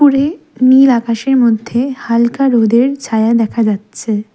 উপরে নীল আকাশের মধ্যে হালকা রোদের ছায়া দেখা যাচ্ছে।